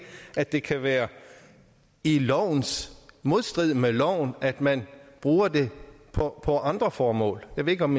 at det kan være i modstrid med loven at man bruger det på andre formål jeg ved ikke om